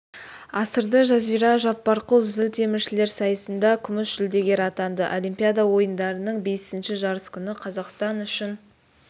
асырды жазира жаппарқұл зілтеміршілер сайысында күміс жүлдегер атанды олимпиада ойындарының бесінші жарыс күні қазақстан үшін